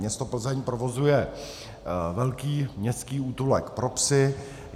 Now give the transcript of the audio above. Město Plzeň provozuje velký městský útulek pro psy.